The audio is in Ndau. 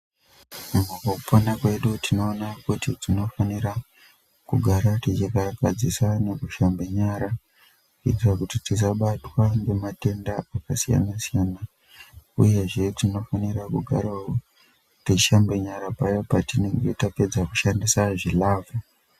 Mukupona kwedu tinoona kuti tinofanira kugara techikarakadzisana kushambe nyara kuitire kuti tisabatwa ngematenda akasiyana siyana uyezve tinofanira kugarawo techishambe nyara paya petinonga tichinge tapedza kushandisa zvilavha.